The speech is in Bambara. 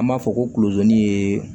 An b'a fɔ ko kulozoni ye